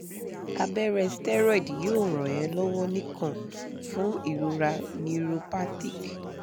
abẹrẹ steroid yoo ran e lọwọ nikan fun irora neuropathic